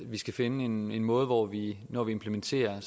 vi skal finde en måde hvor vi når vi implementerer